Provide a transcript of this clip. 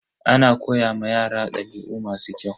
Ana koya ma yara dabi'u masu kyau.